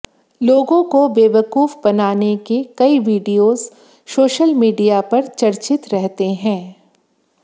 लोगों को बेवकूफ बनाने के कई विडियोज सोशल मीडिया पर चर्चित रहते हैं